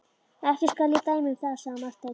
Ekki skal ég dæma um það, sagði Marteinn.